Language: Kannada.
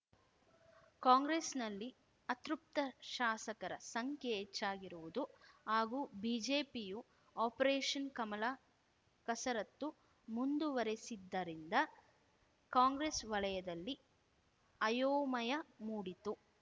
ಕಾಂಗ್ರೆಸ್‌ನಲ್ಲಿ ಅತೃಪ್ತ ಶಾಸಕರ ಸಂಖ್ಯೆ ಹೆಚ್ಚಾಗಿರುವುದು ಹಾಗೂ ಬಿಜೆಪಿಯು ಆಪರೇಷನ್‌ ಕಮಲ ಕಸರತ್ತು ಮುಂದುವರೆಸಿದ್ದರಿಂದ ಕಾಂಗ್ರೆಸ್‌ ವಲಯದಲ್ಲಿ ಅಯೋಮಯ ಮೂಡಿತ್ತು